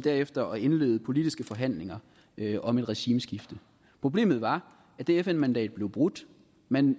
derefter indlede politiske forhandlinger om et regimeskifte problemet var at det fn mandat blev brudt man